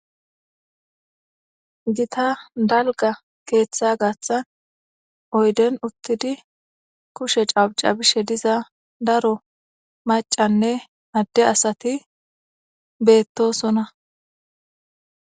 Gita dalga keeththa gaaththan oyden uttidi kushe cabcabishe diza daro maccanne adde asati beetosona.